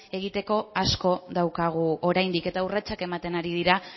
egiteko asko daukagu oraindik eta urratsak ematen ari dira